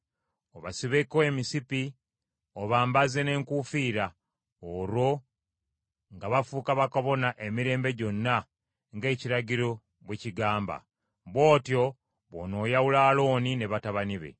obasibeko emisipi, obambaze n’enkuufiira; olwo nga bafuuka bakabona emirembe gyonna ng’ekiragiro bwe kigamba. Bw’otyo bw’onooyawula Alooni ne batabani be.